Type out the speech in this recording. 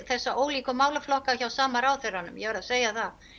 þessa ólíku málaflokka hjá sama ráðherranum ég verð að segja það